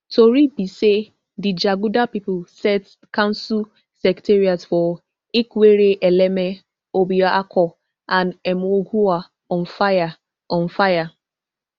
tori be say di jaguda pipo set council secretariats for ikwerre eleme obioakpor and emohua on fire on fire